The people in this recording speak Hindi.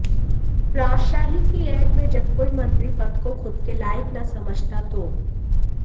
राजशाही की ऐंठ में जब कोई मंत्री पद को खुद के लायक न समझता हो